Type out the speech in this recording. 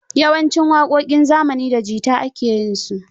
Yawancin waƙoƙin zamani da jita ake yinsu.